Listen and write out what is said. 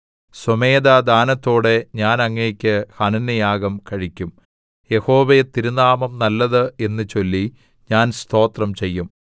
സ്വമേധാദാനത്തോടെ ഞാൻ അങ്ങേക്ക് ഹനനയാഗം കഴിക്കും യഹോവേ തിരുനാമം നല്ലത് എന്നു ചൊല്ലി ഞാൻ സ്തോത്രം ചെയ്യും